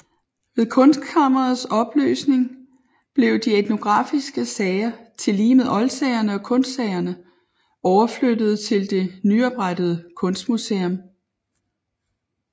Ved Kunstkammerets opløsning blev de etnografiske sager tillige med oldsagerne og kunstsagerne overflyttede til det nyoprettede Kunstmuseum